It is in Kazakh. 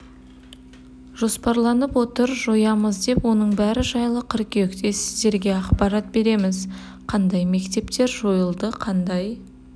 жоспарланып отыр жоямыз деп оның бәрі жайлы қыркүйекте сіздерге ақпарат береміз қандай мектептер жойылды қандай